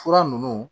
Fura ninnu